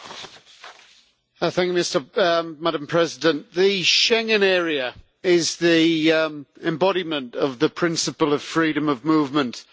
Madam President, the Schengen area is the embodiment of the principle of freedom of movement in the European Union.